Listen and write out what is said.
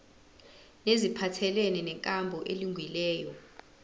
neziphathelene nenkambo elungileyo